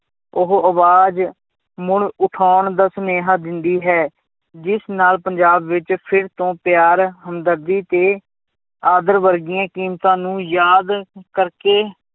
ਉਹ ਆਵਾਜ਼ ਮੁੜ ਉਠਾਉਣ ਦਾ ਸੁਨੇਹਾਂ ਦਿੰਦੀ ਹੈ, ਜਿਸ ਨਾਲ ਪੰਜਾਬ ਵਿੱਚ ਫਿਰ ਤੋਂ ਪਿਆਰ ਹਮਦਰਦੀ ਤੇ ਆਦਰ ਵਰਗੀਆਂ ਕੀਮਤਾਂ ਨੂੰ ਯਾਦ ਕਰਕੇ